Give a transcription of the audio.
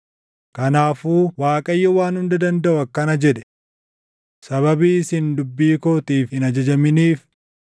Kanaafuu Waaqayyo Waan Hunda Dandaʼu akkana jedhe: “Sababii isin dubbii kootiif hin ajajaminiif,